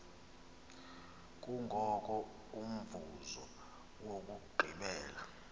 kungoko umvuzo wokugqibela